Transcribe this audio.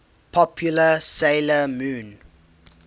popular 'sailor moon